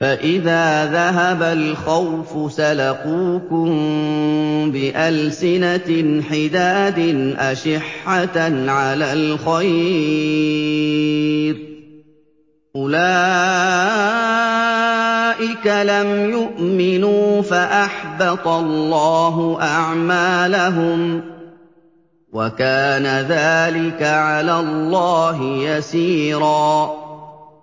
فَإِذَا ذَهَبَ الْخَوْفُ سَلَقُوكُم بِأَلْسِنَةٍ حِدَادٍ أَشِحَّةً عَلَى الْخَيْرِ ۚ أُولَٰئِكَ لَمْ يُؤْمِنُوا فَأَحْبَطَ اللَّهُ أَعْمَالَهُمْ ۚ وَكَانَ ذَٰلِكَ عَلَى اللَّهِ يَسِيرًا